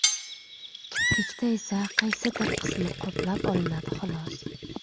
Kiprikda esa qaysidir qismi qoplab olinadi xolos.